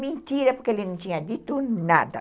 Mentira, porque ele não tinha dito nada.